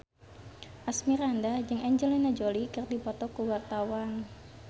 Asmirandah jeung Angelina Jolie keur dipoto ku wartawan